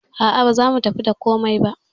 A'a baza mu tafi da komai ba.